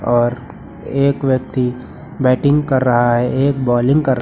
और एक व्यक्ति बैटिंग कर रहा है एक बॉलिंग कर--